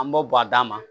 An b'o bɔ a d'a ma